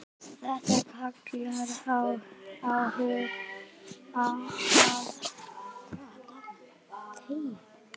Þetta kallar á aðra hugsun.